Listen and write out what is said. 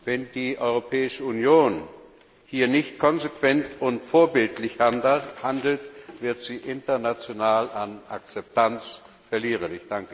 Wenn die Europäische Union hier nicht konsequent und vorbildlich handelt, wird sie international an Akzeptanz verlieren!